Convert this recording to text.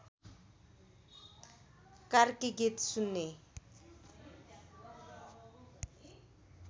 कार्की गीत सुन्ने